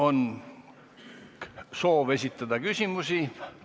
On soov esitada küsimusi.